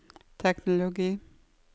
teknologi